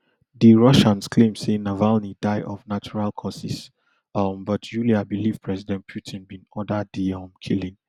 di russians claim say navalny die of natural causes um but yulia believe president putin bin order di um killing